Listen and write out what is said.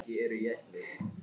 Og ekki orð um það meira!